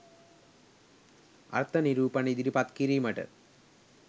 අර්ථ නිරූපන ඉදිරිපත් කිරීමට